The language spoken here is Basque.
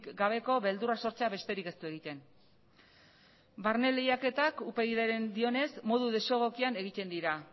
gabeko beldurra sortzea besterik ez du egiten barne lehiaketak upyd ek dioenez modu desegokian egiten dira